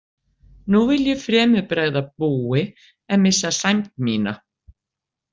Nú vil ég fremur bregða búi en missa sæmd mína.